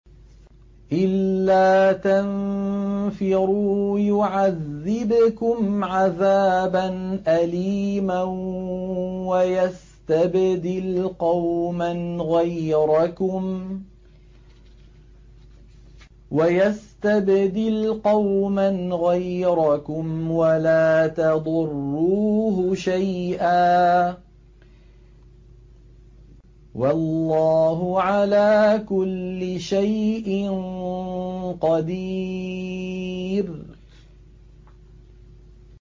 إِلَّا تَنفِرُوا يُعَذِّبْكُمْ عَذَابًا أَلِيمًا وَيَسْتَبْدِلْ قَوْمًا غَيْرَكُمْ وَلَا تَضُرُّوهُ شَيْئًا ۗ وَاللَّهُ عَلَىٰ كُلِّ شَيْءٍ قَدِيرٌ